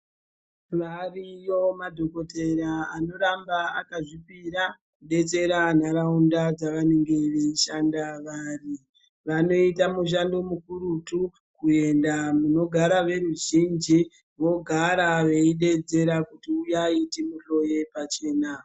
Variyo madhokodheya anoramba akazvipira kudetsera nharaunda dzawo dzavanenge veishanda vari vanoita mushando mukurutu kuenda munogara veruzhinji vogara veidedzera kuti huyai timuhloye pachena.